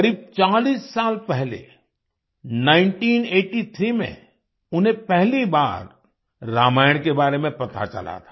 करीब 40 साल पहले 1983 में उन्हें पहली बार रामायण के बारे में पता चला था